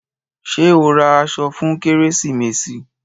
Ṣé ẹ ó ra aṣọ fún kérésìmesì?